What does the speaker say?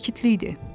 Sakitlik idi.